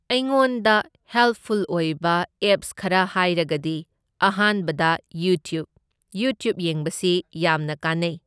ꯑꯩꯉꯣꯟꯗ ꯍꯦꯜꯞꯐꯨꯜ ꯑꯣꯏꯕ ꯑꯦꯞꯁ ꯈꯔ ꯍꯥꯏꯔꯒꯗꯤ ꯑꯍꯥꯟꯕꯗ ꯌꯨꯇ꯭ꯌꯨꯞ, ꯌꯨꯇ꯭ꯌꯨꯞ ꯌꯦꯡꯕꯁꯤ ꯌꯥꯝꯅ ꯀꯥꯟꯅꯩ꯫